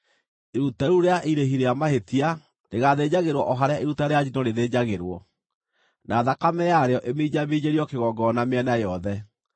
Iruta rĩu rĩa irĩhi rĩa mahĩtia rĩgaathĩnjagĩrwo o harĩa iruta rĩa njino rĩthĩnjagĩrwo, na thakame yarĩo ĩminjaminjĩrio kĩgongona mĩena yothe.